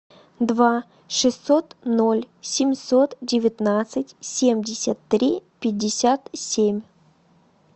два шестьсот ноль семьсот девятнадцать семьдесят три пятьдесят семь